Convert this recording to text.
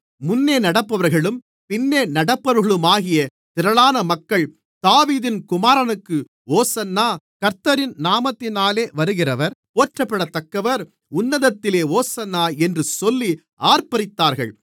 முன்னே நடப்பவர்களும் பின்னே நடப்பவர்களுமாகிய திரளான மக்கள் தாவீதின் குமாரனுக்கு ஓசன்னா கர்த்தரின் நாமத்தினாலே வருகிறவர் போற்றப்படத்தக்கவர் உன்னதத்திலே ஓசன்னா என்று சொல்லி ஆர்ப்பரித்தார்கள்